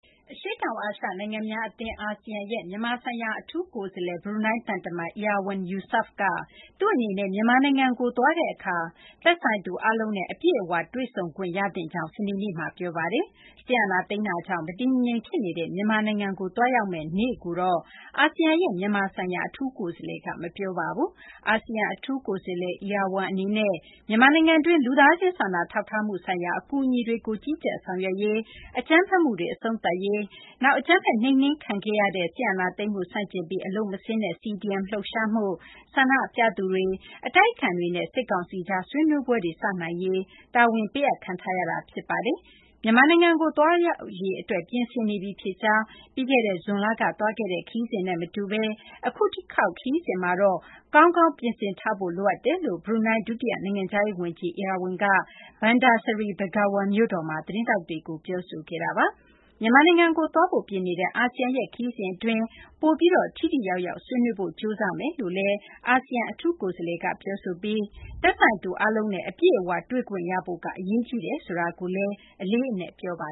အရှေ့တောင် အာရှ နိုင်ငံများ အာဆီယံရဲ့ မြန်မာ ဆိုင်ရာ အထူးကိုယ်စားလှယ် အဖြစ် ခန့်အပ်ထားသူ ဘရူးနိုင်း သံတမန် Erywan Yusof က သူ့အနေနဲ့ မြန်မာနိုင်ငံကို သွားတဲ့ အခါ သက်ဆိုင်သူ အားလုံးနဲ့ အပြည့်အ၀ တွေ့ဆုံခွင့် ရသင့်ကြောင်း စနေနေ့မှာ ပြောပါတယ်။ စစ်အာဏာသိမ်းမှုကြောင့် မတည်မငြိမ် ဖြစ်နေတဲ့ မြန်မာနိုင်ငံကို သွားရောက်မယ့် နေ့ကိုတော့ အာဆီယံရဲ့ မြန်မာဆိုင်ရာ အထူးကိုယ်စားလှယ်က မပြောပါဘူး။ အာဆီယံ အထူးကိုယ်စားလှယ်Erywan အနေနဲ့ မြန်မာနိုင်ငံတွင်း လူသားချင်း စာနာထောက်ထားမှု ဆိုင်ရာ အကူအညီတွေကို ကြီးကြပ်ဆောင်ရွက်ရေး၊ အကြမ်းဖက်မှုတွေ အဆုံးသတ်ရေး၊ နောက် အကြမ်းဖက် နှိမ်နှင်းခံရတဲ့ စစ်အာဏာသိမ်းမှု ဆန့်ကျင်ပြီး အလုပ်မဆင်းတဲ့ CDM လှုပ်ရှားမှုနဲ့ ဆန္ဒပြသူတွေ၊ အတိုက်အခံတွေနဲ့ စစ်ကောင်စီကြား ဆွေးနွေးပွဲတွေ စနိုင်ရေး တာဝန်ပေးအပ်ခံထားရတာ ဖြစ်ပါတယ်။ မြန်မာနိုင်ငံကို သွားရောက်ရေး အတွက် ပြင်ဆင်နေပြီ ဖြစ်ကြောင်း၊ ပြီးခဲ့တဲ့ ဇွန်လက သွားခဲ့တဲ့ ခရီးစဉ်နဲ့ မတူဘဲ အခု တခေါက် ခရီးစဉ်မှာတော့ ကောင်းကောင်း ပြင်ဆင်ထားဖို့ လိုအပ်ကြောင်း ဘရူးနိုင်း ဒုတိယ နိုင်ငံခြားရေး ဝန်ကြီး Erywan က Bandar Seri Begawan မြို့တော်မှာ သတင်းထောက်တွေကို ပြောဆိုခဲ့ပါတယ်။ မြန်မာနိုင်ငံကို သွားဖို့ ပြင်နေတဲ့ အာဆီယံရဲ့ ခရီးစဉ် အတွင်းမှာ ပိုပြီး ထိထိရောက်ရောက် ဆွေးနွေးဖို့ ကြိုးစားမယ်လို့ အာဆီယံ အထူးကိုယ်စားလှယ်Erywan က ပြောဆိုပြီး သက်ဆိုင်သူ အားလုံးနဲ့ အပြည့်အ၀ တွေ့ခွင့်ရဖို့က အရေးကြီးတယ်ဆိုတာကိုလည်း အလေးအနက် ပြောပါ